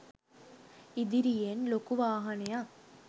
ඉදිරියෙන් ලොකු වාහනයක්